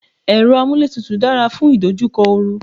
Èrọ amúlétutù dára fún ìdojúkọ oru.